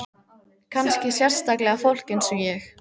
Kannski sérstaklega fólk eins og ég.